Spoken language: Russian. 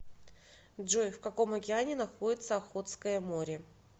джой в каком океане находится охотское море